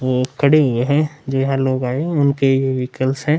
वो खड़े हुए हैं जो यहाँ लोग आए उनकी व्हीकल्स हैं।